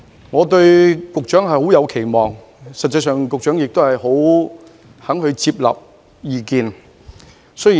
我對局長抱有很高期望，而局長亦十分願意接納意見。